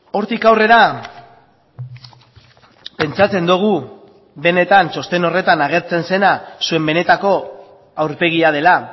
hortik aurrera pentsatzen dugu benetan txosten horretan agertzen zena zuen benetako aurpegia dela